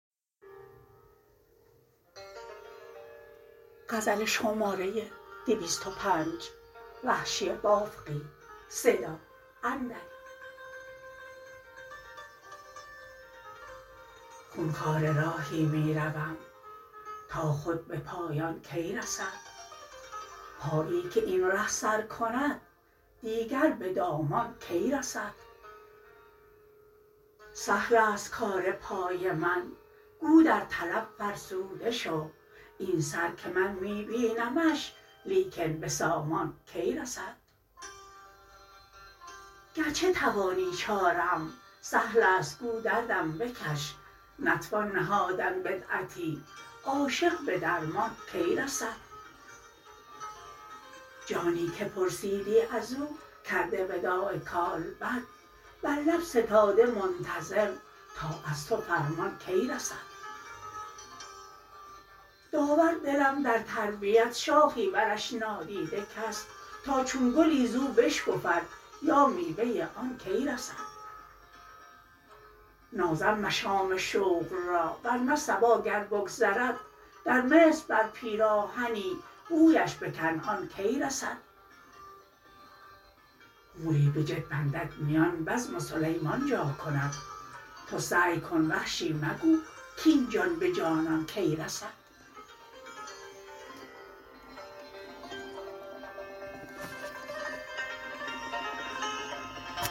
خونخواره راهی می روم تا خود به پایان کی رسد پایی که این ره سر کند دیگر به دامان کی رسد سهل است کار پای من گو در طلب فرسوده شو این سر که من می بینمش لیکن به سامان کی رسد گرچه توانی چاره ام سهل است گو دردم بکش نتوان نهادن بدعتی عاشق به درمان کی رسد جانی که پرسیدی ازو کرده وداع کالبد بر لب ستاده منتظر تا از تو فرمان کی رسد داور دلم در تربیت شاخی برش نادیده کس تا چون گلی زو بشکفد یا میوه آن کی رسد نازم مشام شوق را ورنه صبا گر بگذرد در مصر بر پیراهنی بویش به کنعان کی رسد موری بجد بندد میان بزم سلیمان جا کند تو سعی کن وحشی مگو کاین جان به جانان کی رسد